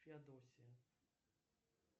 феодосия